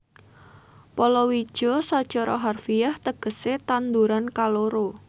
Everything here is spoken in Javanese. Palawija sacara harfiah tegesé tanduran kaloro